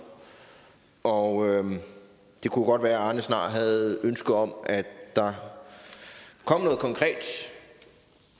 og det kunne godt være at arne snart havde et ønske om at der kom noget konkret